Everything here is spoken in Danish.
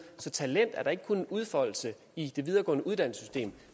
så talent er da ikke kun en udfoldelse i det videregående uddannelsessystem